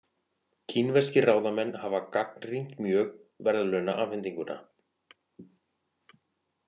Kínverskir ráðamenn hafa gagnrýnt mjög verðlaunaafhendinguna